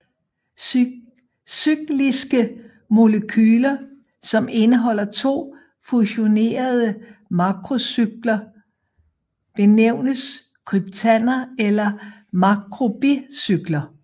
Cykliske molekyler som indeholder to fusionerede makrocykler benævnes kryptander eller makrobicykler